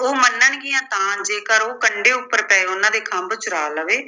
ਉਹ ਮੰਨਣਗੀਆਂ ਤਾਂ ਜੇਕਰ ਉਹ ਕੰਢੇ ਉੱਪਰ ਪਏ ਉਨ੍ਹਾਂ ਦੇ ਖੰਭ ਚੁਰਾ ਲਵੇ